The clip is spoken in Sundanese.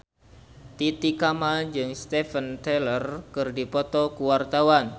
Titi Kamal jeung Steven Tyler keur dipoto ku wartawan